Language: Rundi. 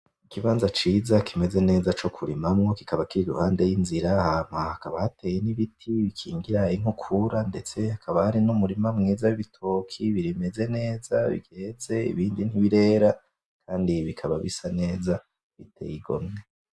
Ikibanza ciza kimeze neza co kurimamwo kikaba kiriruhande yinzira hama hakaba hateye ibiti bikingira inkukura ndetse hakaba hari nu murima mwiza w'ibitoki bimeze neza vyeze, ibindi ntibirera kandi bikaba bisa neza biteye igomwe.